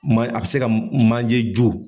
Maa a bɛ se ka manje jo